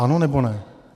Ano, nebo ne?